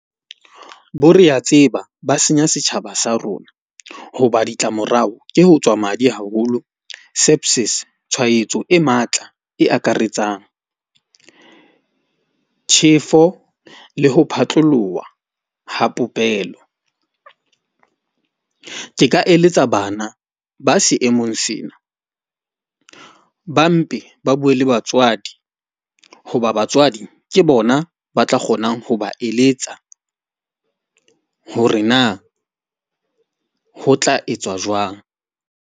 Bo re a tseba ba senya setjhaba sa rona. Hoba ditlamorao ke ho tswa madi haholo tshwaetso e matla e akaretsang. Tjhefo le ho phatloloha ha popelo. Ke ka eletsa bana ba seemong sena, ba mpe ba bue le batswadi hoba batswadi ke bona ba tla kgonang ho ba eletsa hore na ho tla etswa jwang.